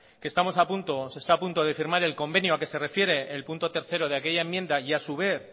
que se está a punto de firmar el convenio a que se refiere el punto tres de aquella enmienda y a su vez